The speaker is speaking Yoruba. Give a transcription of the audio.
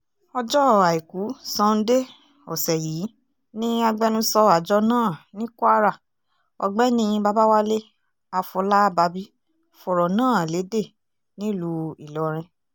ọjọ́ àìkú sanńdé ọ̀sẹ̀ yìí ni agbẹnusọ àjọ náà ní kwara ọ̀gbẹ́ni babáwálé àfọlábábí fọ̀rọ̀ náà lédè nílùú ìlọrin